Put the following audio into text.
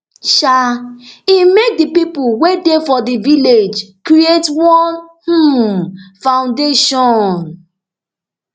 um im make di pipo wey dey for di village create one um foundation